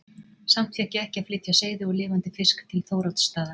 Samt fékk ég ekki að flytja seiði og lifandi fisk til Þóroddsstaða.